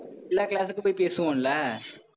எல்லா class க்கும் போய், பேசுவோம் இல்ல?